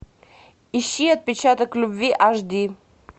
ищи отпечаток любви аш ди